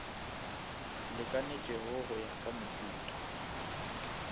lekanetšego go ya ka mohuta